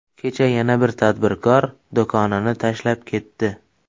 Kecha yana bir tadbirkor do‘konini tashlab ketdi.